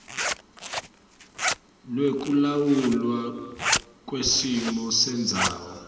lwekulawulwa kwesimo sendzawo